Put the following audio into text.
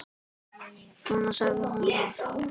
Svona sagði hún það.